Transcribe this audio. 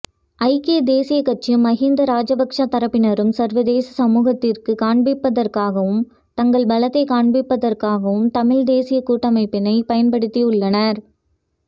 ஐக்கியதேசிய கட்சியும் மகிந்த ராஜபக்ச தரப்பினரும் சர்வதேசமூகத்திற்கு காண்பிப்பதற்காகவும் தங்கள் பலத்தை காண்பிப்பதற்காகவும் தமிழ்தேசிய கூட்டமைப்பினை பயன்படுத்தியுள்ளனர்